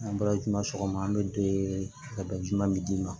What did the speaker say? An bɔra juma sɔgɔma an bɛ don ka dɔ jumɛn d'i ma